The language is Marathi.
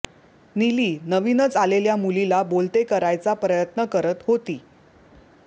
निली नवीनच आलेल्या मुलीला बोलते करायचा प्रयत्न करत होती